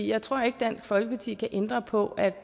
jeg tror ikke at dansk folkeparti kan ændre på at